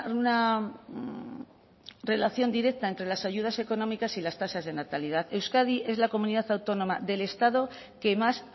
una relación directa entre las ayudas económicas y las tasas de natalidad euskadi es la comunidad autónoma del estado que más